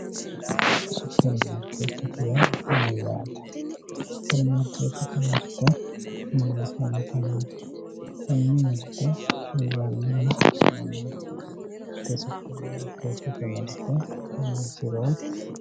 suprimaarkeetete yaa mayyate? suprimaarkeetete mirte mama afantannote? tenne mirte hirrannihu mamaati? tee suprimaarkeetete mirte ronsiro.....